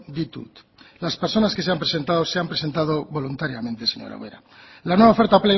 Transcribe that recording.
ditut las personas que se han presentado se han presentado voluntariamente señora ubera la nueva oferta